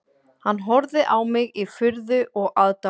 Hann horfði á mig í furðu og aðdáun